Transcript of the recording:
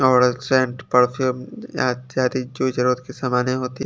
और scent perfume अत्यधिक जोई जरूरत के सामाने होती--